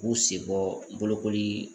K'u senbɔ bolokoli